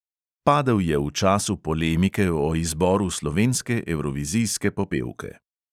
Padel je v času polemike o izboru slovenske evrovizijske popevke.